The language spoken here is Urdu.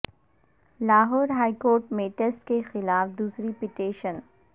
لاہور ہائی کورٹ میں ٹیسٹ کے خلاف دوسری پٹیشن